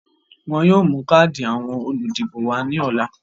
Wọ́n yóò mú káàdì àwọn olùdìbò wá ní ọ̀la